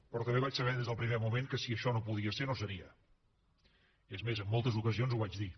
però també vaig saber des del primer moment que si això no podia ser no seria és més en moltes ocasions ho vaig dir